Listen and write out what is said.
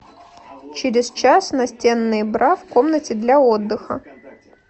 через час настенные бра в комнате для отдыха